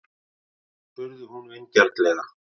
spurði hún vingjarnlega.